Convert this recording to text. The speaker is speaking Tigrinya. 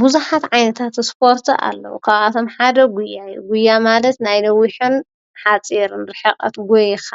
ብዙኃት ዓይነታት ስፖርቲ ኣለዉ ካብቶም ሓደ ጕያይ ጕያ ማለት ናይ ነዊኁን ኃጺርን ሒቐት ጐይኻ